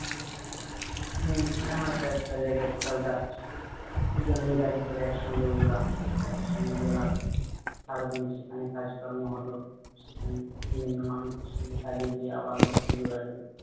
উম এই হয়তো একটা যায়গায় কোথাও যাচ্ছি দুজনেই গাড়ি করে এক সঙ্গে উঠলাম, একসঙ্গে গেলাম সারাদিন সেখানে কাজ কর্ম হলো সেখানে বিভিন্ন মানুষদের সঙ্গে কাজে গিয়ে আবার নতুন যোগাযোগ।